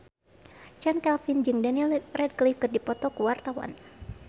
Chand Kelvin jeung Daniel Radcliffe keur dipoto ku wartawan